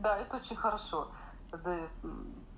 да это очень хорошо продаёт